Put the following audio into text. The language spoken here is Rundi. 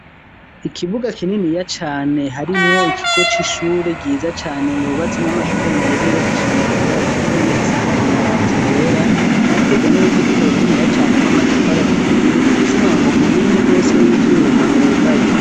Ikibuga, kininiya cane, harimwo ikigo c'ishure, ryiza cane, hubatsemwo, amashure meza, yubakishije amatafari aturiye, asakaje mabati yera; bikikujwe n'uruzitiro, runiniya cane, rw'amatafari aturiye, rufise umwango, munini gose, w'ivyuma, wugaye.